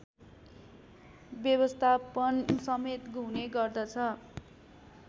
व्यवस्थापनसमेत हुने गर्दछ